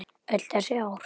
Öll þessi ár.